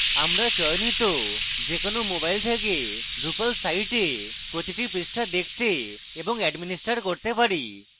আমরা চয়নিত যে কোনো mobile থেকে আমাদের drupal site প্রতিটি পৃষ্ঠা দেখতে এবং administer করতে পারি